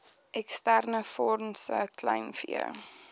eksterne fondse kleinvee